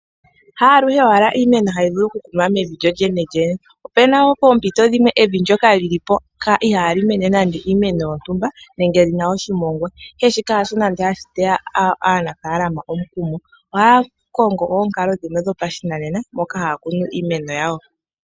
Ha aluhe owala iimeno hayi vulu oku kunwa mevi lyolyene, opena poompito dhimwe evi ndyoka ihali mene iimeno yontumba nenge lyina oshimongwa, ihe ihashi teya aanafalama omukumo ohaya kongo oonkalo dhimwe dhopashinanena moka haya kunu iimeno yawo.